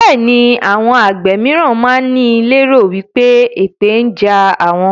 Bẹẹni àwọn àgbẹ̀ mìíràn máa ń ní lé ro wípé èpè ń jà àwọn.